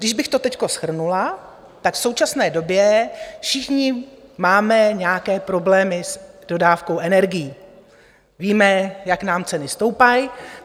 Když bych to teď shrnula, tak v současné době všichni máme nějaké problémy s dodávkou energií, víme, jak nám ceny stoupají.